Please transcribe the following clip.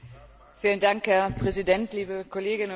Herr Präsident, liebe Kolleginnen und Kollegen!